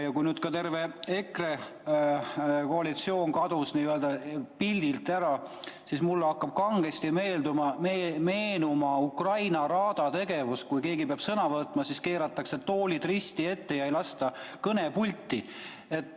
Kui terve EKRE fraktsioon kadus pildilt ära, siis mulle hakkas kangesti meenuma Ukraina raada tegevus: kui keegi peab sõna võtma, siis keeratakse toolid risti ette ja ei lasta teda kõnepulti.